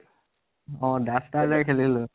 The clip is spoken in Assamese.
অ duster লৈ খেলিছিলো।